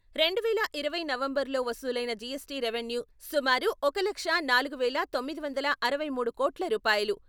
రెండువేల ఇరవై నవంబరులో వసూలైన జీఎస్టీ రెవెన్యూ సుమారు ఒక లక్షా నాలుగు వేల తొమ్మిది వందల అరవై మూడు కోట్ల రూపాయలు.